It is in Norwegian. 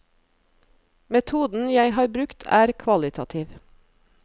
Metoden jeg har brukt er kvalitativ.